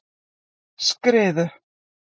Skriðu